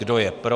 Kdo je pro?